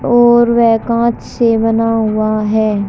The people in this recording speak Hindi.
और वे कांच से बना हुआ है।